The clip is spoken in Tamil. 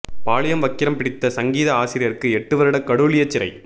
பாலியல் வக்கிரம் பிடித்த சங்கீத ஆசிரியருக்கு எட்டு வருட கடூழிய சிறை